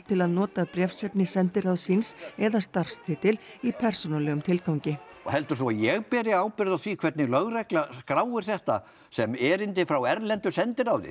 til að nota bréfsefni sendiráðs síns eða starfstitil í persónulegum tilgangi heldur þú að ég beri ábyrgð á því hvernig lögregla skráir þetta sem erindi frá erlendu sendiráði